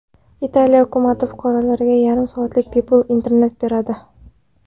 Italiya hukumati fuqarolarga yarim soatlik bepul internet beradi.